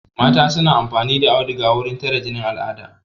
Mata suna amfani da auduga wurin tare jinin al'ada